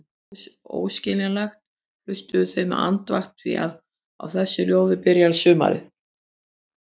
Þótt það væri óskiljanlegt, hlustuðu þau með andakt því á þessu ljóði byrjar sumarið.